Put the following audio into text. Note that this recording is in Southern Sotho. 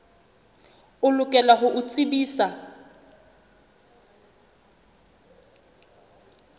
o lokela ho o tsebisa